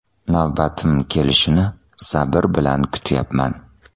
Navbatim kelishini sabr bilan kutyapman.